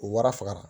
U warafagara